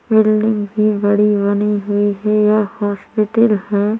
Building भी बड़ी बनी हुई हैं यह हॉस्पिटल हैं।